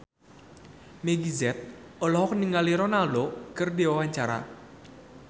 Meggie Z olohok ningali Ronaldo keur diwawancara